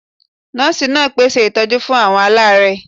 Nọ́ọ̀sì náà pé ṣe ìtọ́jú fún àwọn alaare